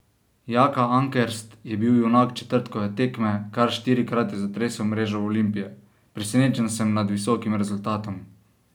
Jaka Ankerst je bil junak četrtkove tekme, kar štirikrat je zatresel mrežo Olimpije: "Presenečen sem nad visokim rezultatom.